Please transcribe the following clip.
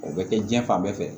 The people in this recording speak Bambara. O bɛ kɛ diɲɛ fan bɛɛ fɛ